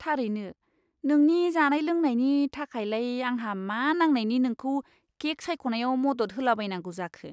थारैनो! नोंनि जानाय लोंनायनि थाखायलाय आंहा मा नांनायनि नोंखौ केक सायख'नायाव मदद होलाबायनांगौ जाखो!